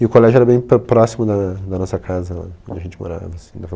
E o colégio era bem pró próximo da da nossa casa, onde a gente morava, assim, dava